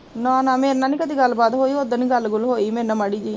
ਨਾ ਨਾ ਮੇਰੇ ਨਾਲ਼ ਨੀ ਕਦੇ ਗੱਲ ਬਾਤ ਹੋਈ, ਓਦਣ ਈ ਗੱਲ ਗੁੱਲ ਹੋਈ ਮੇਰੇ ਨਾਲ਼ ਮਾੜੀ ਜਹੀ